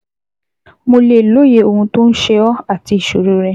Mo lè lóye ohun tó ń ṣe ọ́ àti ìṣoro rẹ